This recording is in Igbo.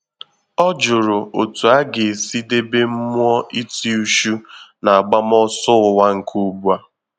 Ọ jụrụ otú ọ ga-esi debe mmụọ iti uchu na-agbam ọsọ ụwa nke ugbua